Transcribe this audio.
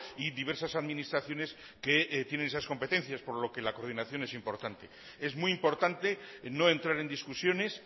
y diversas administraciones que tienen esas competencias por lo que la coordinación es importante es muy importante no entrar en discusiones